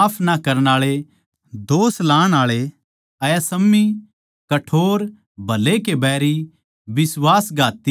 निर्दयी माफ ना करण आळा दोष लाण आळे असंयमी कठोर भले के बैरी